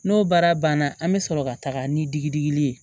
N'o baara banna an bɛ sɔrɔ ka taga ni digili ye